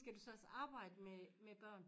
Skal du så også arbejde med med børn?